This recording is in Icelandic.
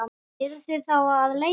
Eruð þið þá að leita?